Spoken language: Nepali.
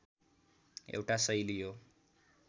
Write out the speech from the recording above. एउटा शैली हो